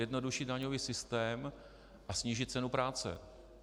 Jednodušší daňový systém a snížit cenu práce.